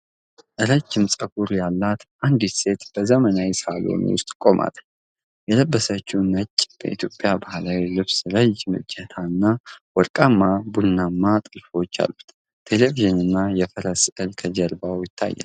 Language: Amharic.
ረዥም፣ ጠጉር ፀጉር ያላት አንዲት ሴት በዘመናዊ ሳሎን ውስጥ ቆማለች። የለበሰችው ነጭ የኢትዮጵያ ባህላዊ ልብስ ረዥም እጀታ እና ወርቃማና ቡናማ ጥልፎች አሉት። ቴሌቪዥንና የፈረስ ስዕል ከጀርባዋ ይታያሉ።